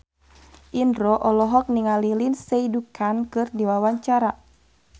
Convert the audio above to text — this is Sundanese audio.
Indro olohok ningali Lindsay Ducan keur diwawancara